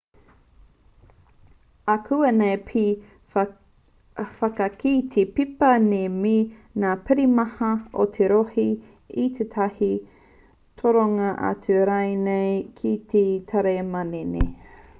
akuanei pea me whakakī te pepa nei me ngā pirihimana o te rohe i tētahi toronga atu rānei ki te tari manene